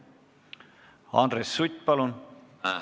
Andres Sutt, palun!